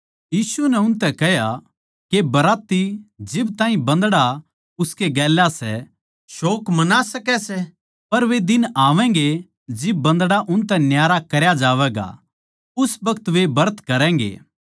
यीशु नै उनतै कह्या के बराती जिब ताहीं बन्दड़ा उसके गेल्या सै शोक मना सकै सै पर वे दिन आवैगें जिब बन्दड़ा उनतै न्यारा करया जावैगा उस बखत वे ब्रत करैगें